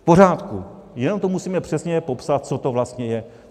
V pořádku, jenom to musíme přesně popsat, co to vlastně je.